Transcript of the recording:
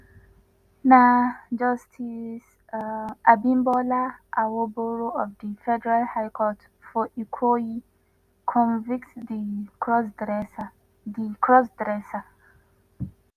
na justice abimbola awogboro of di federal high court for ikoyi convict di crossdresser. di crossdresser.